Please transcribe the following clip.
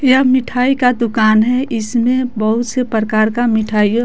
यह मिठाई का दुकान है इसमें बहुत से प्रकार का मिठाईयो--